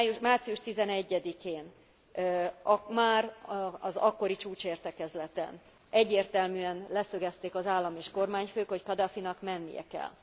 Március 11 én, már az akkori csúcsértekezleten egyértelműen leszögezték az állam és kormányfők, hogy Kadhafinak mennie kell.